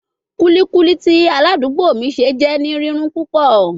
Kulikuli ti aladugbo mi ṣe jẹ ni rirun pupọ